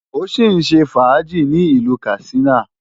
Mo sì ń ṣe fàájì ní ìlú Katsina.